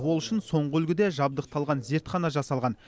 ол үшін соңғы үлгіде жабдықталған зертхана жасалған